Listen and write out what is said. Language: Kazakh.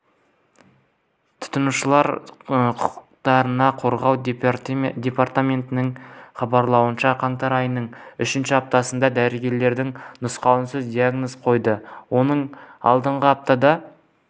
тұтынушылар құқықтарын қорғау департаментінің хабарлауынша қаңтар айының үшінші аптасында дәрігерлер науқасқа диагнозын қойды оның алдыңғы аптада